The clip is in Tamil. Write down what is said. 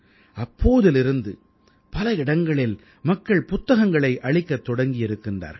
அப்போதிலிருந்து பல இடங்களில் மக்கள் புத்தகங்களை அளிக்கத் தொடங்கி இருக்கிறார்கள்